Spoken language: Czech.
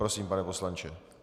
Prosím, pane poslanče.